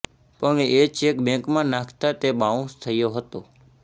પણ એ ચેક બેકમાં નાખતા તે બાઉન્સ થયો હતો